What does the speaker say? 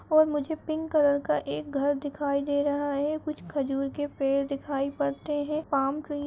और मुझे pink colour का एक घर दिखाई दे रहा है। कुछ खजूर के पेड़ दिखाई पड़ते हैं। Palm tree --